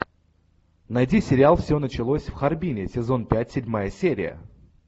найди сериал все началось в харбине сезон пять седьмая серия